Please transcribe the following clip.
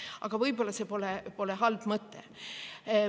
Aga võib-olla see pole halb mõte.